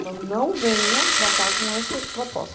Então, não venha para cá com essa proposta.